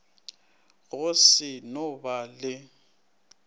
go se no ba le